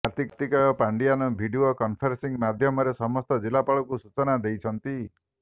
Kartikeya Pandian video conferencing ମାଧ୍ୟମରେ ସମସ୍ତ ଜିଲ୍ଲାପାଳଙ୍କୁ ସୂଚନା ଦେଇଛନ୍ତି